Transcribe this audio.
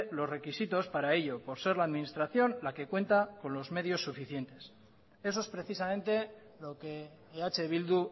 los requisitos para ello por ser la administración la que cuenta con los medios suficientes eso es precisamente lo que eh bildu